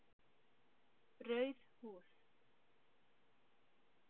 Rauð húð